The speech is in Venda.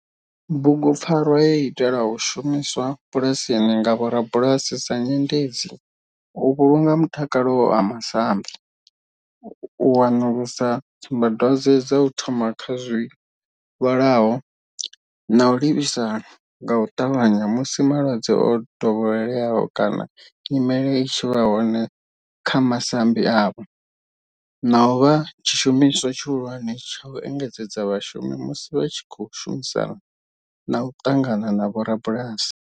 Bugu pfarwa yo itelwa u shumiswa bulasini nga vhorabulasi sa nyendedzi u vhulunga mutakalo wa masambi, u wanulusa tsumba dwadzwe dza u thoma kha zwilwalaho na u livhisa nga u tavhanya musi malwadze o dovheleaho kana nyimele i tshi vha hone kha masambi avho, na u vha tshishumiswa tshihulwane tsha u engedzedza vhashumi musi vha tshi khou shumisana na u ṱangana na vhorabulasi.